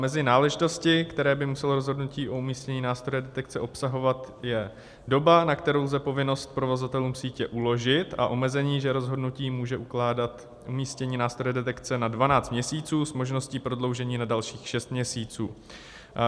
Mezi náležitosti, které by muselo rozhodnutí o umístění nástroje detekce obsahovat, je doba, na kterou lze povinnost provozovatelům sítě uložit, a omezení, že rozhodnutí může ukládat umístění nástroje detekce na 12 měsíců s možností prodloužení na dalších 6 měsíců.